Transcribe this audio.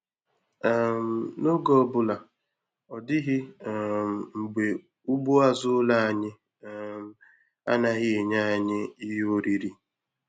um N'oge ọbụla, ọ dịghị um mgbe ugbo azụ ụlọ anyị um anaghị enye anyị ihe oriri.